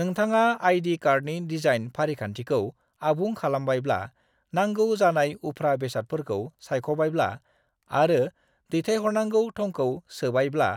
नोंथाङा आइ.डी. कार्डनि डिजाइन फारिखान्थिखौ आबुं खालामबायब्ला, नांगौ जानाय उफ्रा बेसादफोरखौ सायख'बायब्ला, आरो दैथायहरनांगौ थंखौ सोबायब्ला,